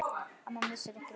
Amma missir ekki af leik.